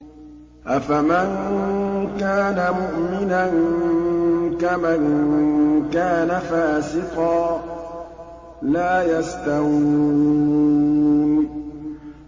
أَفَمَن كَانَ مُؤْمِنًا كَمَن كَانَ فَاسِقًا ۚ لَّا يَسْتَوُونَ